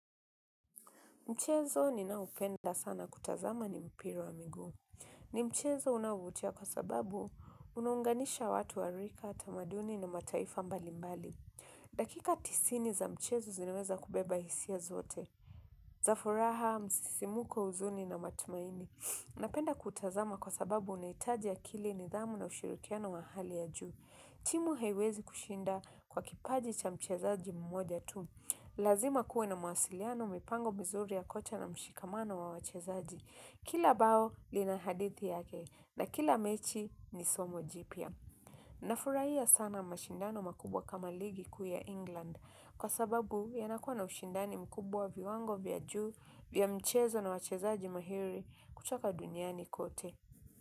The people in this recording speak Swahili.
Mchezo ninao penda sana kutazama ni mpira wa miguu. Ni mchezo unaovutia kwa sababu unaunganisha watu wa rika, tamaduni na mataifa mbalimbali. Dakika tisini za mchezo zinaweza kubeba hisia zote. Za furaha, msisimko huzuni na matumaini. Napenda kutazama kwa sababu unaitaji akili nidhamu na ushirikiano wa hali ya juu. Timu haiwezi kushinda kwa kipaji cha mchezaji mmoja tu. Lazima kuwe na masiliano mipango mizuri ya kocha na mshikamano wa wachezaji. Kila bao lina hadithi yake na kila mechi ni somo jipya. Nafurahia sana mashindano makubwa kama ligi kuu ya England. Kwa sababu yanakuwa na ushindani mkubwa viwango vya juu vya mchezo na wachezaji mahiri kuchoka duniani kote.